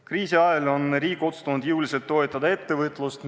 Kriisi ajal on riik otsustanud jõuliselt toetada ettevõtlust.